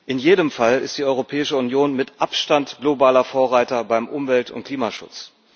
In jedem Fall ist die Europäische Union mit Abstand globaler Vorreiter beim Umwelt und Klimaschutz.